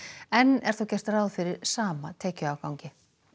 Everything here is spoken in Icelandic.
enn er þó gert ráð fyrir sama tekjuafgangi